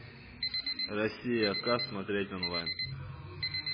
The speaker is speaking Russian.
россия к смотреть онлайн